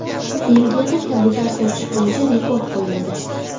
Belgiyada kabutar sotish bo‘yicha rekord qo‘yildi.